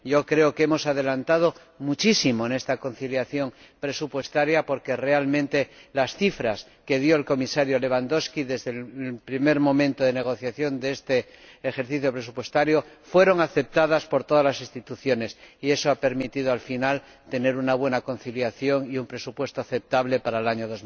Creo que hemos adelantado muchísimo en esta conciliación presupuestaria, porque realmente las cifras que dio el Comisario Lewandowski desde el primer momento de negociación de este ejercicio presupuestario fueron aceptadas por todas las instituciones, y eso ha permitido al final tener una buena conciliación y un presupuesto aceptable para el año